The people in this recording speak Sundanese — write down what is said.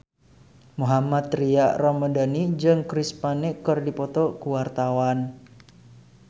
Mohammad Tria Ramadhani jeung Chris Pane keur dipoto ku wartawan